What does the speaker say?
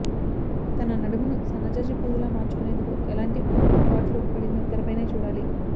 తన నడుమును సన్నజాజి పువ్వులా మార్చుకొనేందుకు ఎలాంటి పాట్లు పడిందో తెరపైనే చూడాలి